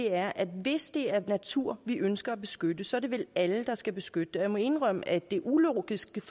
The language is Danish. er at hvis det er natur vi ønsker at beskytte så er det vel alle der skal beskytte den og jeg må indrømme at det ulogiske